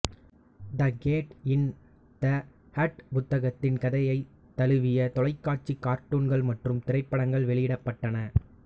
the cat in the hat புத்தகத்தின் கதையை தழுவி தொலைக்காட்சி கார்டூன்கள் மற்றும் திரைப்படங்கள் வெளியிடப்பட்டன